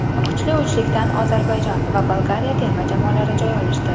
Kuchli uchlikdan Ozarbayjon va Bolgariya terma jamoalari joy olishdi.